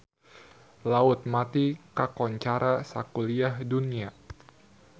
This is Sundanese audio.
Laut Mati kakoncara sakuliah dunya